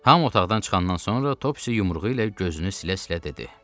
Hamı otaqdan çıxandan sonra Topci yumruğu ilə gözünü silə-silə dedi: